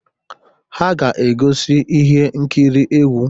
Ha ga-egosi ihe nkiri egwu.